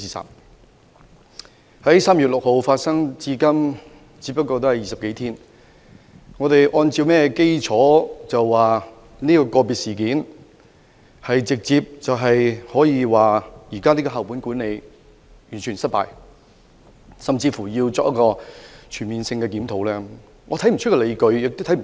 事件自3月6日發生至今，只有20多天。我們怎可因為這宗個別事件而直接得出校本管理制度完全失敗的結論，甚至要求全面檢討此制度？